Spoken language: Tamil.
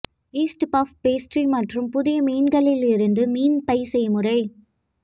ஈஸ்ட் பஃப் பேஸ்ட்ரி மற்றும் புதிய மீன்களில் இருந்து மீன் பை செய்முறை